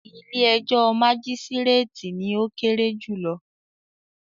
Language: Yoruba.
“ilé-ẹjọ́ majisireti” ni ó kéré jùlọ.